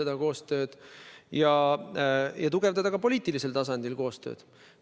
Ja püüame tugevdada ka poliitilisel tasandil tehtavat koostööd.